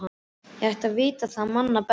Ég ætti að vita það manna best.